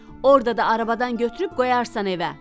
Orda da arabada götürüb qoyarsan evə.